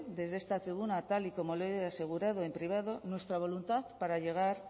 desde esta tribuna tal y como lo he asegurado en privado nuestra voluntad para llegar